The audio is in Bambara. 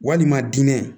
Walima diinɛ